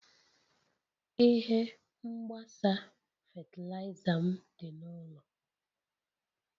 Ihe mgbasa fatịlaịza m dị n'ụlọ.